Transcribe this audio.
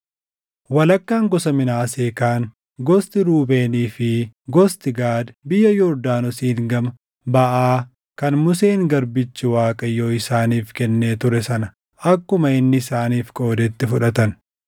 Walakkaan gosa Minaasee kaan, gosti Ruubeenii fi gosti Gaad biyya Yordaanosiin gama baʼaa kan Museen garbichi Waaqayyoo isaaniif kennee ture sana akkuma inni isaaniif qoodetti fudhatan.